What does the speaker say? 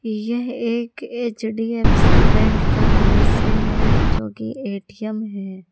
यह एक HDFC bank का दृश्य है जो कि ए_टी_म है।